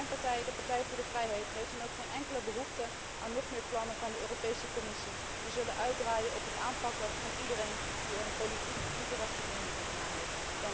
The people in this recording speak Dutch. Mijn partij, de Partij voor de Vrijheid, heeft dan ook geen enkele behoefte aan nog meer plannen van de Europese Commissie die zullen uitdraaien op het aanpakken van iedereen die er een politiek incorrecte mening op nahoudt.